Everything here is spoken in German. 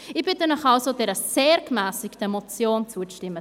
Ich bitte Sie also, dieser sehr gemässigten Motion zuzustimmen.